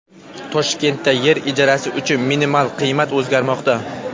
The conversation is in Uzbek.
Toshkentda yer ijarasi uchun minimal qiymat o‘zgarmoqda.